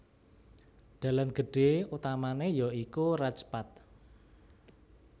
Dalan gedhé utamané ya iku Raj Path